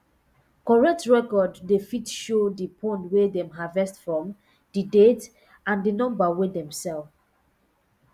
correct record dey um show di pond wey dem harvest from di date and di number wey dem sell